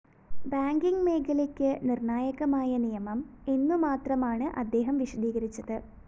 banking മേഖലയ്ക്ക് നിര്‍ണായകമായ നിയമം എന്നു മാത്രമാണ് അദ്ദേഹം വിശദീകരിച്ചത്